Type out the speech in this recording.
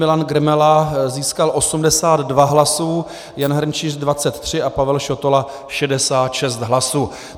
Milan Grmela získal 82 hlasů, Jan Hrnčíř 23 a Pavel Šotola 66 hlasů.